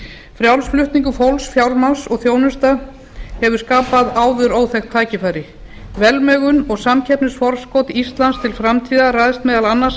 frjáls flutningur fólks fjármagns og þjónustu hefur skapað áður óþekkt tækifæri velmegun og samkeppnisforskot íslands til framtíðar ræðst meðal annars af því